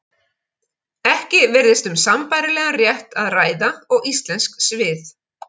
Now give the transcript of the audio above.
Ekki virðist um sambærilegan rétt að ræða og íslensk svið.